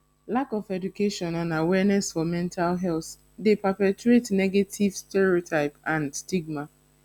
lack of education and awarneness for mental health dey perpetuate negative stereotype and stigam